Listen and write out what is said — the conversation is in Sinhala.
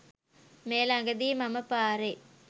මේ ළඟදි මම පාරෙ